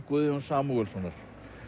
Guðjóns Samúelssonar